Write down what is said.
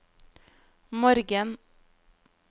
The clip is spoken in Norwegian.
morgen